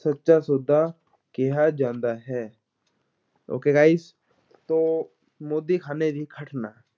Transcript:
ਸੱਚਾ ਸੌਦਾ ਕਿਹਾ ਜਾਂਦਾ ਹੈ okay guys ਤੋ ਮੋਦੀਖ਼ਾਨੇ ਦੀ ਘਟਨਾ